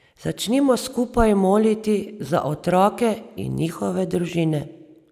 Začnimo skupaj moliti za otroke in njihove družine.